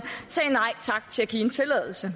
sagde nej tak til at give en tilladelse